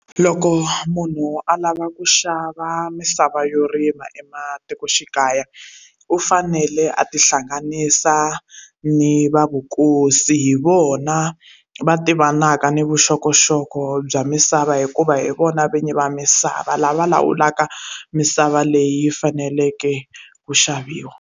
Loko munhu a lava ku xava misava yo rima ematikoxikaya u fanele a ti hlanganisa ni va vukosi hi vona va tivanaka ni vuxokoxoko bya misava hikuva hi vona vinyi va misava lava lawulaka misava leyi faneleke ku xaviwa.